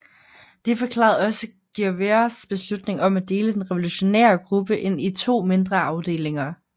Det forklarede også Guevaras beslutning om at dele den revolutionære gruppe ind i to mindre afdelinger